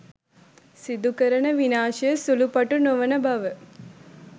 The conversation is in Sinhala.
සිදුකරන විනාශය සුළු පටු නොවන බව